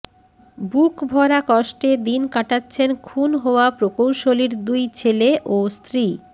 বুক ভরা কষ্টে দিন কাটাচ্ছেন খুন হওয়া প্রকৌশলীর দুই ছেলে ও স্ত্রী